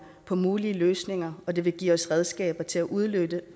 på mulige løsninger og det vil give os redskaber til at udnytte